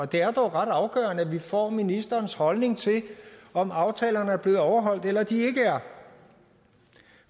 det er dog ret afgørende at vi får ministerens holdning til om aftalerne er blevet overholdt eller de ikke er